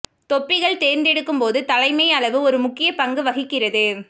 தொப்பிகள் தேர்ந்தெடுக்கும் போது தலைமை அளவு ஒரு முக்கிய பங்கு வகிக்கிறது